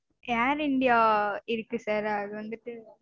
Air india இருக்கு sir அது வந்துட்டு